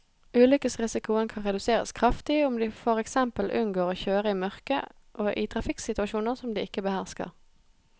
Ulykkesrisikoen kan reduseres kraftig om de for eksempel unngår å kjøre i mørket og i trafikksituasjoner som de ikke behersker.